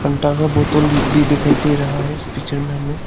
का बोतल भी दिखाई दे रहा है इस पिक्चर में हमें।